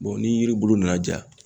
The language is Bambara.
ni yiribulu nana ja.